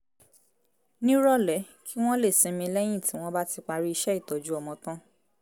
nírọ̀lẹ́ kí wọ́n lè sinmi lẹ́yìn tí wọ́n bá ti parí iṣẹ́ ìtọ́jú ọmọ tán